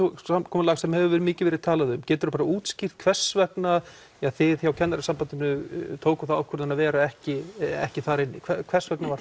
samkomulag sem hefur mikið verið talað um geturu útskýrt hvers vegna þið hjá Kennarasambandinu tókuð þá ákvörðun að vera ekki ekki þar inni hvers vegna var